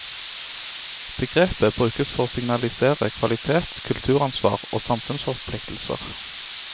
Begrepet brukes for å signalisere kvalitet, kulturansvar og samfunnsforpliktelser.